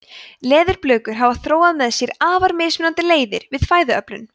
leðurblökur hafa þróað með sér afar mismunandi leiðir við fæðuöflun